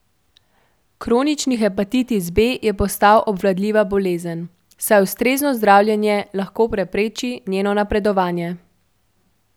Kronični hepatitis B je postal obvladljiva bolezen, saj ustrezno zdravljenje lahko prepreči njeno napredovanje.